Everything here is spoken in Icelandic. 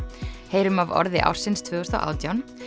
heyrum af orði ársins tvö þúsund og átján